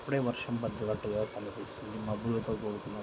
ఇప్పుడే వర్షం పడ్డట్టుగా కనిపిస్తుంది మబ్బులతో కూడికున్న --